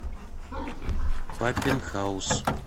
паппенхаус